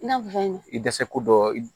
I n'a fɔ fɛn dɛsɛ ko dɔ i